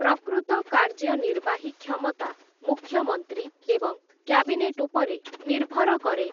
ପ୍ରକୃତ କାର୍ଯ୍ୟନିର୍ବାହୀ କ୍ଷମତା ମୁଖ୍ୟମନ୍ତ୍ରୀ ଏବଂ କ୍ୟାବିନେଟ୍‌ ଉପରେ ନିର୍ଭର କରେ ।